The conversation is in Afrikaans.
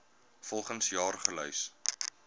volgens jaar gelys